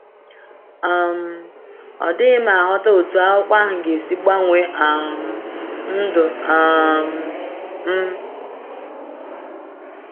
um Ọ dịghị m aghọta otú akwụkwọ ahụ ga-esi gbanwee um ndụ um m.